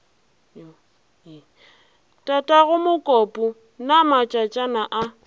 tatago mokopu na matšatšana a